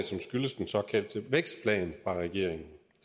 som skyldes den såkaldte vækstplan fra regeringen